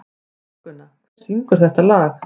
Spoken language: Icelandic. Þórgunna, hver syngur þetta lag?